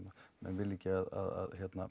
menn vilja ekki að